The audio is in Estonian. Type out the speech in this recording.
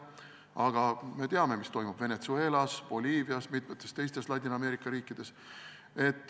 Aga me teame, mis toimub Venezuelas, Boliivias ja mitmes teises Ladina-Ameerika riigis.